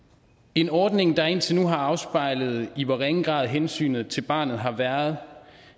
en ordning der indtil nu har afspejlet i hvor ringe grad hensynet til barnet har været